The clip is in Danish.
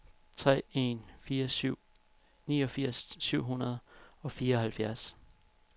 tre en fire syv niogfirs syv hundrede og fireoghalvfjerds